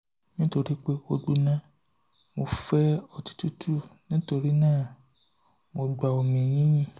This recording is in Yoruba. nítorí pé ó gbóná mo fẹ́ ọtí tútù nítorí náà mo gba omi yìnyín